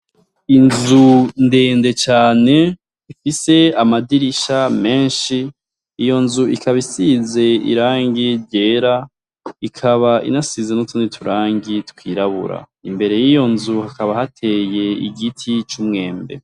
Inzu ndende cane ifise amadirisha menshi, iyo nzu ikaba isize irangi ryera, ikaba inasize n'utundi turangi twirabura. Imbere yiyo nzu hakaba hateye igiti cumwembe.